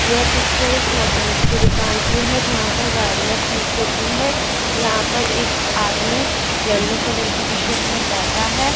ये पिक्चर एक मैकेनिक की दुकान की है जहां पर गाड़ियां ठीक होती हैं यहां पर एक आदमी येलो कलर की टी शर्ट में बैठा है।